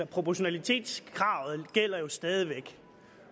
proportionalitetskravet gælder stadig væk